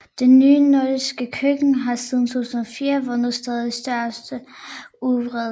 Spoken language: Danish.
Det nye nordiske køkken har siden 2004 vundet stadig større udbredelse